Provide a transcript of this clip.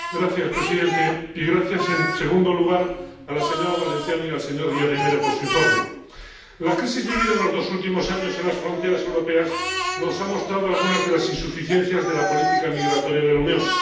Señor presidente gracias a la señora Valenciano y al señor Díaz de Mera por su informe. La crisis vivida en los dos últimos años en las fronteras europeas nos ha mostrado algunas de las insuficiencias de la política migratoria de la Unión.